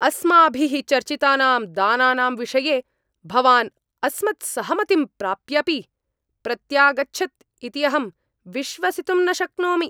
अस्माभिः चर्चितानां दानानां विषये भवान् अस्मत्सहमतिं प्राप्यापि प्रत्यागच्छत् इति अहं विश्वसितुं न शक्नोमि।